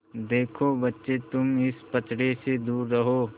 देखो बच्चे तुम इस पचड़े से दूर रहो